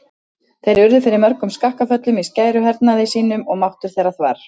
Þeir urðu fyrir mörgum skakkaföllum í skæruhernaði sínum og máttur þeirra þvarr.